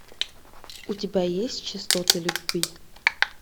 у тебя есть частоты любви